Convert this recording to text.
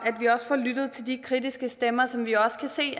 vi også får lyttet til de kritiske stemmer som vi også kan se